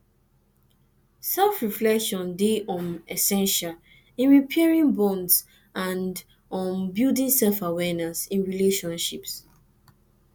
selfreflection dey um essential in repairing bonds and um building selfawareness in relationships